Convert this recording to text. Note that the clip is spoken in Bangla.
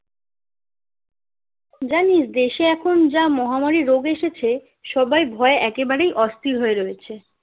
জানিস দেশে এখন যা মহামারি রোগ এসেছে সবাই ভয়ে একেবারেই অস্থির হয়ে রয়েছে